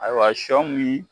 Ayiwa sɔ bi